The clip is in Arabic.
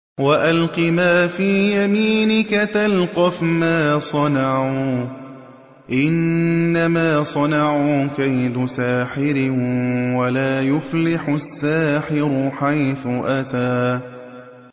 وَأَلْقِ مَا فِي يَمِينِكَ تَلْقَفْ مَا صَنَعُوا ۖ إِنَّمَا صَنَعُوا كَيْدُ سَاحِرٍ ۖ وَلَا يُفْلِحُ السَّاحِرُ حَيْثُ أَتَىٰ